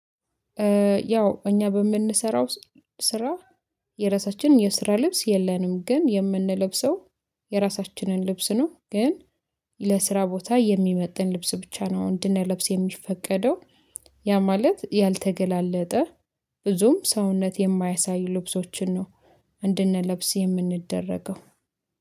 ያው እኛ በምንሰራው ስራ የራሳችንን የስራ ልብስ የለንም ግን የምንለብሰው የራሳችንን ልብስ ነው። ግን ለስራ ቦታ የሚመጥን ልብስ ብቻ ነው እንድንለብስ የሚፈቀደው። ያ ማለት ያልተገላለጠ ብዙም ሰውነት የማያሳዩ ልብሶችን ነው። እንድንለብስ የምንደረገው